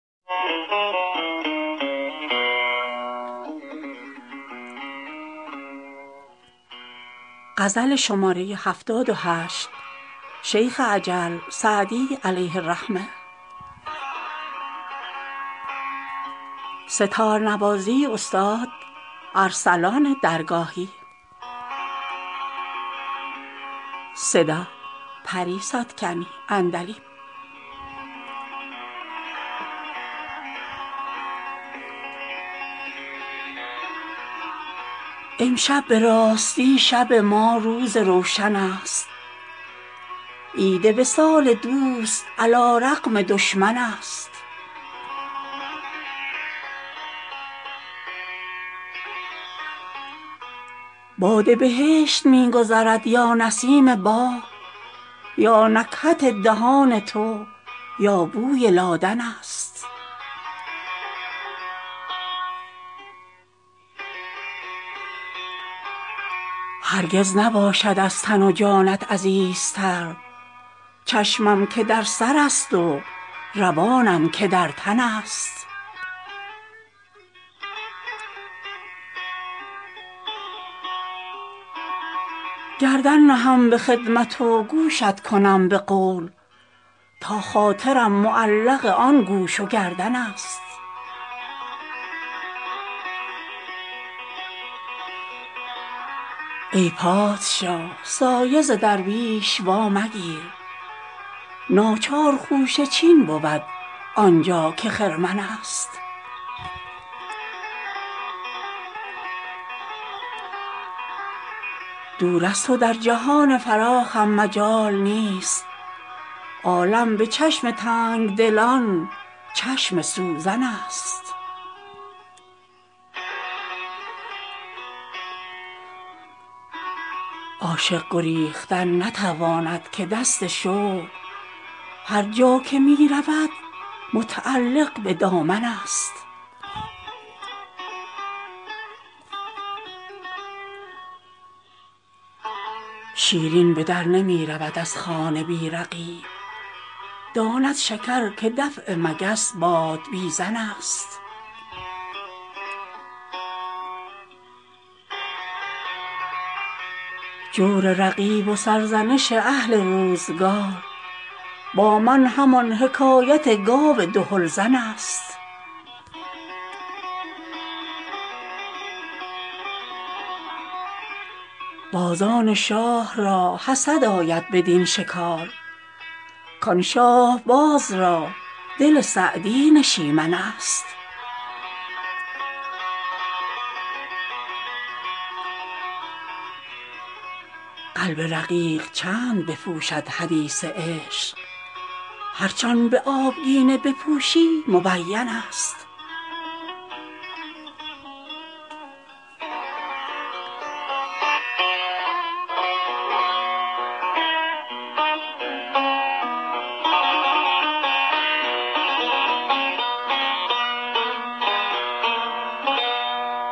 امشب به راستی شب ما روز روشن است عید وصال دوست علی رغم دشمن است باد بهشت می گذرد یا نسیم باغ یا نکهت دهان تو یا بوی لادن است هرگز نباشد از تن و جانت عزیزتر چشمم که در سرست و روانم که در تن است گردن نهم به خدمت و گوشت کنم به قول تا خاطرم معلق آن گوش و گردن است ای پادشاه سایه ز درویش وامگیر ناچار خوشه چین بود آن جا که خرمن است دور از تو در جهان فراخم مجال نیست عالم به چشم تنگ دلان چشم سوزن است عاشق گریختن نتواند که دست شوق هر جا که می رود متعلق به دامن است شیرین به در نمی رود از خانه بی رقیب داند شکر که دفع مگس بادبیزن است جور رقیب و سرزنش اهل روزگار با من همان حکایت گاو دهل زن است بازان شاه را حسد آید بدین شکار کان شاهباز را دل سعدی نشیمن است قلب رقیق چند بپوشد حدیث عشق هرچ آن به آبگینه بپوشی مبین است